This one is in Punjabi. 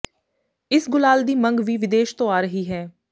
ਇਸ ਗੁਲਾਲ ਦੀ ਮੰਗ ਵੀ ਵਿਦੇਸ਼ ਤੋਂ ਆ ਰਹੀ ਹੈ